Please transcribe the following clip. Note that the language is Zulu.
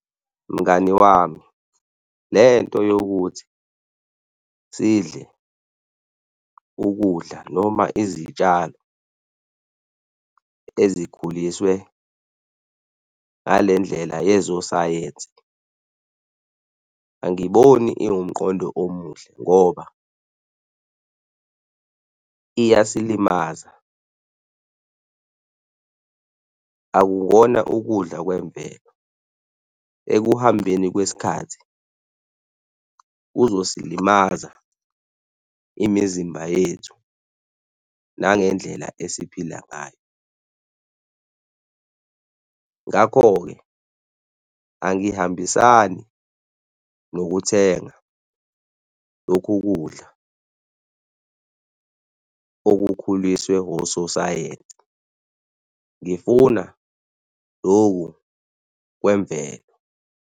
Mngani wami, lento yokuthi sidle ukudla noma izitshalo ezikhuliswe ngale ndlela yezo sayensi angiboni iwumqondo omuhle ngoba iyasilimaza, akukona ukudla kwemvelo. Ekuhambeni kwesikhathi kuzosilimaza imizimba yethu nangendlela esiphila ngayo. Ngakho-ke angihambisani nokuthenga lokhu kudla okukhuliswe ososayensi. Ngifuna loku kwemvelo.